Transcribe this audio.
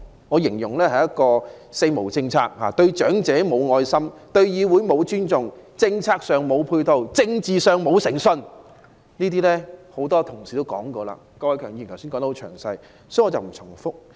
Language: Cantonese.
我形容這是一個"四無"政策，對長者"無愛心"、對議會"無尊重"、政策上"無配套"、政治上"無誠信"，這些論點多位議員均已論述，郭偉强議員剛才也說得很詳細，所以我不會重複。